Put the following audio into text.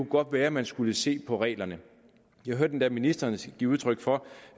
godt være man skulle se på reglerne jeg hørte endda ministeren give udtryk for